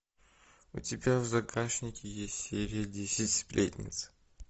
у тебя в загашнике есть серия десять сплетниц